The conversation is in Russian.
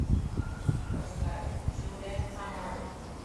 поставь джулия хамари